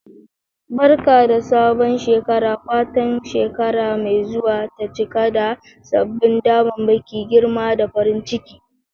Barka da sabon shekara! Fatan shekara mai zuwa ta cika da sabbin damammaki, girma, da farin ciki.